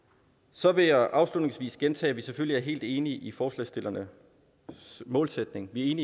så vil jeg afslutningsvis gentage at vi selvfølgelig er helt enige i forslagsstillernes målsætning vi